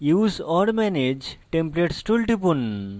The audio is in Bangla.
use or manage templates tool টিপুন